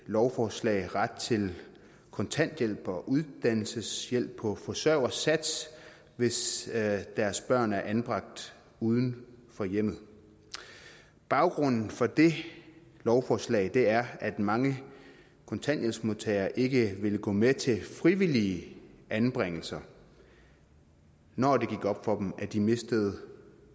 lovforslag får ret til kontanthjælp og uddannelseshjælp på forsørgersats hvis deres børn er anbragt uden for hjemmet baggrunden for det lovforslag er at mange kontanthjælpsmodtagere ikke ville gå med til frivillige anbringelser når det gik op for dem at de mistede